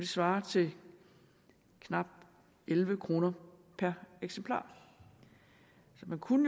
svarer til knap elleve kroner per eksemplar så man kunne